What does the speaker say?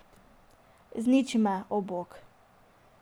Izniči me, o, Bog.